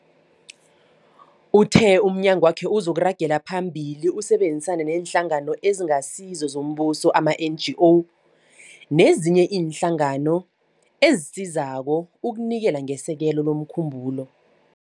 Uthe umnyagwakhe uzoragela phambili usebenzisane neeNhlangano eziNgasizo zoMbuso, ama-NGO, nezinye iinhlangano ezisizako ukunikela ngesekelo lomkhumbulo.